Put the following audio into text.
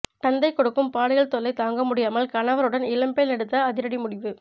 தந்தை கொடுக்கும் பாலியல் தொல்லை தாங்கமுடியாமல் கணவருடன் இளம்பெண் எடுத்த அதிரடி முடிவு